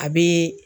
A bɛ